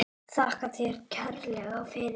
Þakka þér kærlega fyrir.